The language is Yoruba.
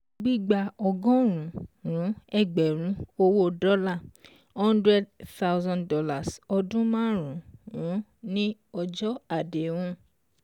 Gbígba Ọgọ́rùn-ún ẹgbẹ̀rún owó dọ́là hundred thousand dollar ọdún márùn-ún ní ọjọ́ àdéhùn